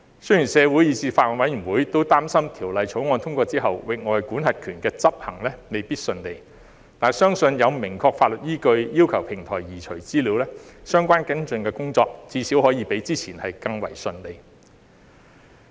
雖然社會以至法案委員會都擔心，《條例草案》通過後，域外管轄權的執行未必順利，但相信有了明確的法律依據要求平台移除資料，相關跟進工作至少可以比之前更順利。